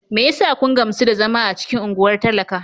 Me yasa kun gamsu da zama a cikin unguwar talaka?